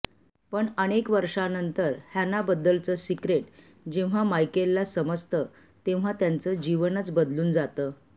पण अनेक वर्षांनंतर हॅनाबद्दलचं सिक्रेट जेव्हा मायकेलला समजतं तेव्हा त्याचं जीवनच बदलून जातं